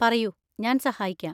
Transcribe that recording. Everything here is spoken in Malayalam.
പറയൂ, ഞാൻ സഹായിക്കാം.